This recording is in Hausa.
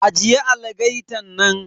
Ajiye algaitan nan.